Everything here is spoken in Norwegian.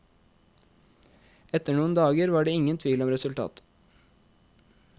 Etter noen dager var det ingen tvil om resultatet.